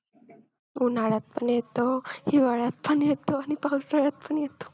उन्हाळ्यात पण येतो, हिवाळ्यात पण येतो, आणि पावसाळ्यात पण येतो.